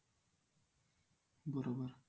बरोबर